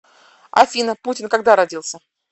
афина путин когда родился